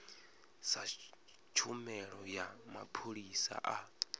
sa tshumelo ya mapholisa a